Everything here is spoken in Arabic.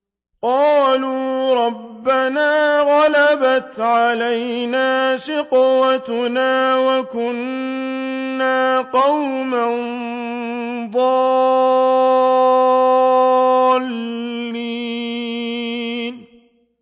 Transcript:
قَالُوا رَبَّنَا غَلَبَتْ عَلَيْنَا شِقْوَتُنَا وَكُنَّا قَوْمًا ضَالِّينَ